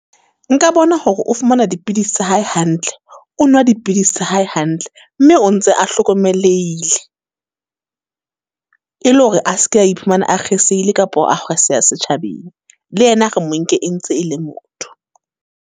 Nka bona hore o fumana dipidisi tsa hae hantle? O nwa dipidisi tsa hae hantle? Mme o ntse a hlokomelehile. E le hore a seke a iphumana a kgesehile kapo setjhabeng. Le yena re monke e ntse e le motho.